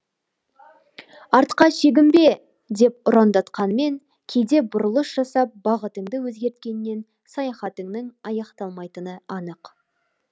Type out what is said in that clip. артқа шегінбе деп ұрандатқанмен кейде бұрылыс жасап бағытыңды өзгерткеннен саяхатыңның аяқталмайтыны анық